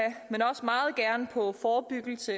men også meget gerne på forebyggelse